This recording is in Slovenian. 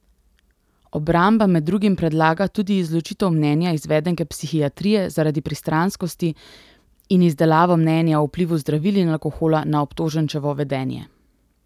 Obramba med drugim predlaga tudi izločitev mnenja izvedenke psihiatrije zaradi pristranskosti in izdelavo mnenja o vplivu zdravil in alkohola na obtoženčevo vedenje.